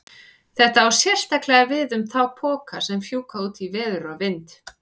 Þetta á sérstaklega við um þá poka sem fjúka út í veður og vind.